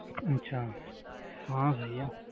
ਅੱਛਾ ਹਾਂ ਸਹੀ ਆ